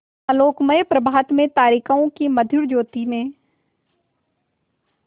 आलोकमय प्रभात में तारिकाओं की मधुर ज्योति में